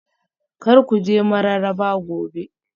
Kar ku je Mararaba Gobe